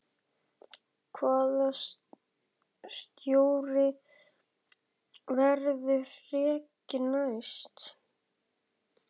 Hvaða stjóri verður rekinn næst?